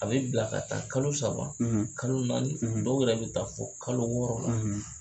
A bɛ bila ka taa kalo saba kalo naani dɔw yɛrɛ bɛ taa fɔ kalo wɔɔrɔ la.